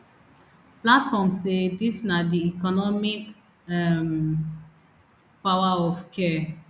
platform say dis na di economic um power of care